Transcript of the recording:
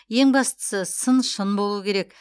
ең бастысы сын шын болуы керек